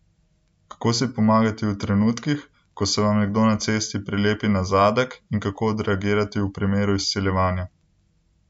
Kako si pomagati v trenutkih, ko se vam nekdo na cesti prilepi na zadek in kako odreagirati v primeru izsiljevanja?